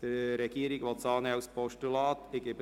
Die Regierung will den Vorstoss als Postulat annehmen.